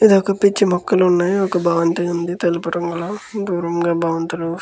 ఇది ఒక పిచ్చి మొక్కలు ఉన్నాయి. ఒక భవంతి ఉంది. తెలుపు రంగులో దూరంగా భవంతులు --